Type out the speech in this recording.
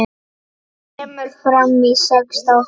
Kemur fram í sex þáttum.